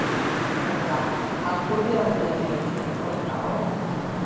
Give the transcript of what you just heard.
Helga: Haldið þið að þið eigið eftir að drekka áfengi?